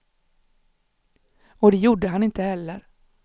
Och det gjorde han inte heller.